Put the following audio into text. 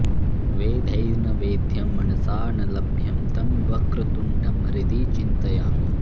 वेदैर्न वेद्यं मनसा न लभ्यं तं वक्रतुण्डं हृदि चिन्तयामि